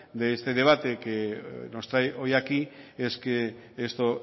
de este debate que nos trae hoy aquí es que esto